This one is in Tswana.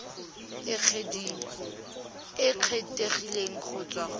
e kgethegileng go tswa go